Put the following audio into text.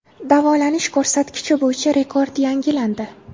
Davolanish ko‘rsatkichi bo‘yicha rekord yangilandi.